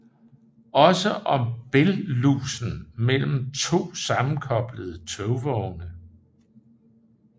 Også om bælgslusen mellem to sammenkoblede togvogne